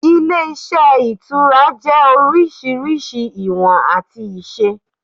Ilé iṣẹ́ Ìtura jẹ́ orísirísi ìwọ̀n àti ìṣe